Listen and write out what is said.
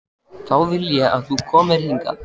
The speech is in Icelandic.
Þá vil ég að þú komir hingað!